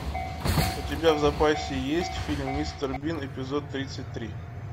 у тебя в запасе есть фильм мистер бин эпизод тридцать три